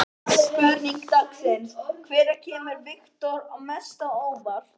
Spurning dagsins: Hvað hefur komið mest á óvart?